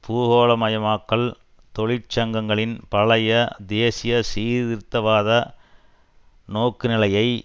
பூகோளமயமாக்கல் தொழிற்சங்கங்களின் பழைய தேசிய சீர்திருத்தவாத நோக்குநிலையை